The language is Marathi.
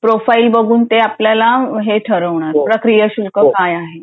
प्रोफाइल बघून ते आपल्याला हे ठरवणार प्रक्रिया शुल्क काय आहे